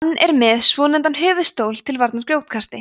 hann er með svonefndan höfuðstól til varnar grjótkasti